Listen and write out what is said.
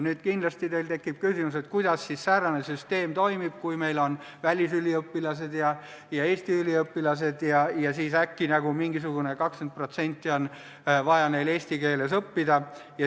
Nüüd tekib teil kindlasti küsimus, kuidas säärane süsteem toimib, kui meil on välisüliõpilased ja Eesti üliõpilased ja siis äkki mingisuguse 20% ulatuses on neil vaja eesti keeles õppida.